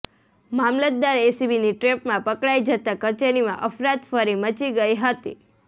મામલતદાર એસીબીની ટ્રેપમાં પકડાઈ જતાં કચેરીમાં અફરાતફરી મચી ગઈ હતી